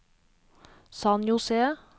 San José